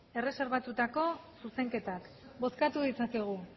erreserbatutako zuzenketak bozkatu ditzakegu